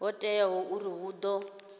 ho teaho uri hu ḓo